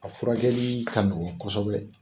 A furakɛli ka nɔgɔ kosɛbɛ